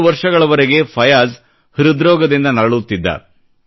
2 ವರ್ಷಗಳವರೆಗೆ ಫಯಾಜ್ ಹೃದ್ರೋಗದಿಂದ ನರಳುತ್ತಿದ್ದ